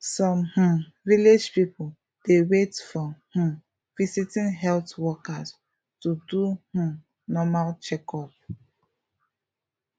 some um village people dey wait for um visiting health workers to do um normal checkup